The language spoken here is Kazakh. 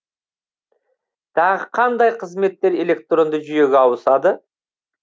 тағы қандай қызметтер электронды жүйеге ауысады